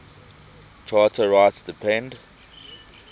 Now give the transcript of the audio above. charter rights depend